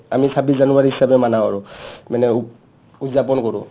আমি ছাবিছ জানুৱাৰী হিচাপে maana কৰো ? মানে উদযাপন কৰো